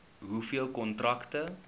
hoeveel kontrakte